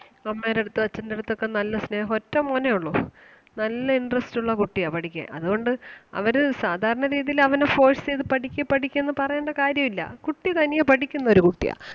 അമ്മേടടുത്തും അച്ഛന്റെടുത്തും ഒക്കെ നല്ല സ്നേഹം ഒറ്റ മോനെ ഒള്ളൂ നല്ല interest ഉള്ള കുട്ടിയാ പഠിക്കാൻ അതുകൊണ്ട് അവര് സാധാരണ രീതിയില് അവനെ force ചെയ്‌ത്‌ പഠിക്ക് പഠിക്ക് എന്ന് പറയേണ്ട കാര്യം ഇല്ല കുട്ടി തനിയേ പഠിക്കുന്ന ഒരു കുട്ടിയാ